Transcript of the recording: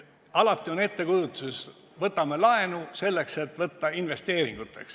Alati on ettekujutus, et võtame laenu selleks, et teha investeeringuid.